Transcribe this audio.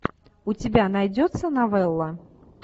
у тебя найдется новелла